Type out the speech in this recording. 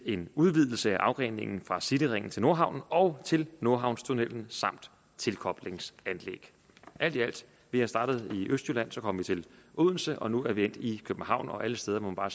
en udvidelse af afgreningen fra cityringen til nordhavnen og til nordhavnstunnellen samt tilkoblingsanlæg vi startede i østjylland så kom vi til odense og nu er vi endt i københavn og alle steder må man bare